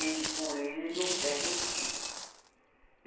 Ele, por ele, ele não perde um dia.